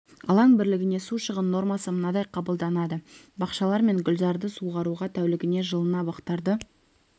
алаң бірлігіне су шығын нормасы мынадай қабылданады бақшалар мен гүлзарды суаруға тәулігіне жылына бақтарды